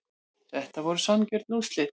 Þetta voru sanngjörn úrslit